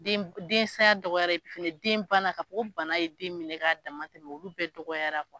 Den densaya dɔgɔyara epi fɛnɛ denbana ka fɔ ko bana ye den minɛ k'a daman tɛmɛ olu bɛɛ dɔgɔyara.